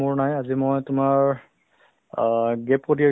এতিয়া মই বতৰতো অলপ ভাল কৰিছেতো